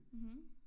Mh